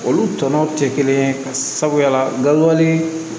Olu tɔnɔw tɛ kelen ye ka sabuya dɔnbali